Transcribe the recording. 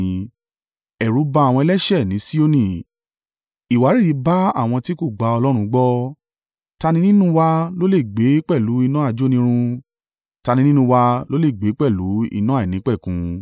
Ẹ̀rù ba àwọn ẹlẹ́ṣẹ̀ ní Sioni; ìwárìrì bá àwọn tí kò gba Ọlọ́run gbọ́: “Ta ni nínú wa lólè gbé pẹ̀lú iná ajónirun? Ta ni nínú wa lólè gbé pẹ̀lú iná àìnípẹ̀kun?”